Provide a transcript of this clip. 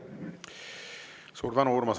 Suur tänu!